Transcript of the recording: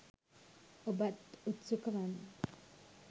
ඔබත් උත්සුක වන්න.